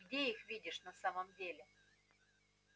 где их видишь на самом деле